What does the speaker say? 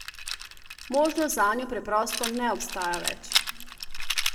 Možnost zanjo preprosto ne obstaja več.